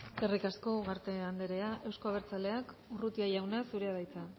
eskerrik asko ugarte andrea euzko abertzaleak urrutia jauna zurea da hitza